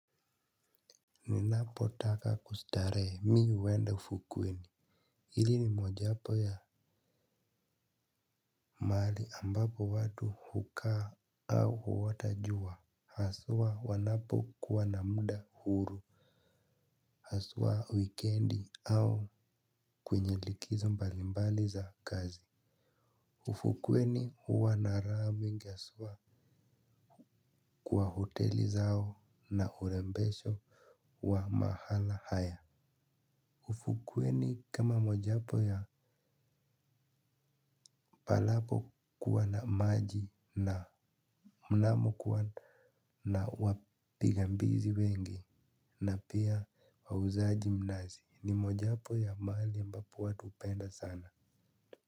Ninapo taka kustarehe mimi huenda ufukweni. Hili ni mojawapo ya mahali ambapo watu hukaa au huota jua. Haswa wanapo kuwa na muda huru haswa wikendi au kwenye likizo mbalimbali za kazi. Ufukweni huwa na rabu ngesua kwa hoteli zao na urembesho wa mahala haya. Ufukuwe ni kama mojapo ya palapo kuwa na maji mnamo kuwa na wapiga mbizi wengi na pia wauzaji mnazi ni mojapo ya mahali ambapo watu hupenda sana.